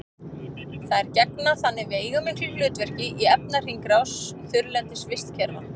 þær gegna þannig veigamiklu hlutverki í efnahringrás þurrlendis vistkerfa